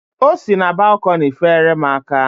O si na balkọni feere m aka.